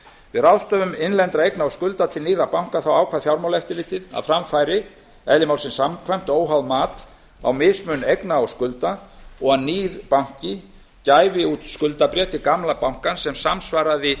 við ráðstöfun innlendra eigna og skulda til nýrra banka ákvað fjármálaeftirlitið að fram færi eðli málsins samkvæmt óháð mat á mismun eigna og skulda og að nýr banki gæfi út skuldabréf til gamla bankans sem samsvaraði